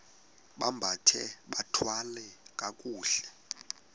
bambathe bathwale kakuhle